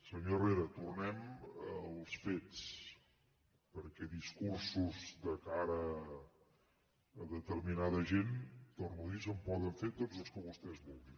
senyor herrera tornem als fets perquè discursos de cara a determinada gent ho torno a dir se’n poden fer tots els que vostès vulguin